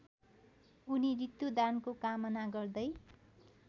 उनी ऋतुदानको कामना गर्दै